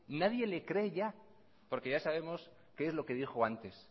nadie le cree ya porque ya sabemos qué es lo que dijo antes